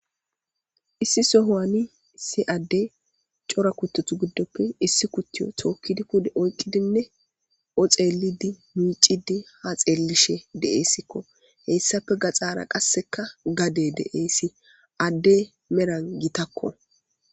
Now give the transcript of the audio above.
issi sohowani isi adde cora kuttutu giddoppe issi kuttiyo tookkidi kude oyqqidinne oxeelidi miicidi ha xeellishe deeessikko heyssafe gaxaara qasseka gade deeessi addey meran gitakko